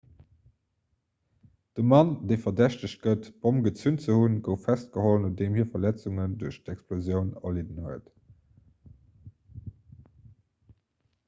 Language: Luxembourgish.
de mann dee verdächtegt gëtt d'bomm gezünt ze hunn gouf festgeholl nodeem hie verletzungen duerch d'explosioun erlidden hat